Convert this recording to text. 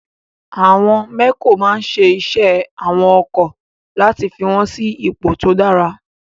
Àwọn mẹ́kò máa ń ṣe iṣẹ́ àwọn ọkọ̀ láti fi wọ́n sí ipò tó dára.